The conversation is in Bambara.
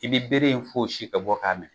I bi bere in fosi kɛ bɔ k'a mɛnɛ.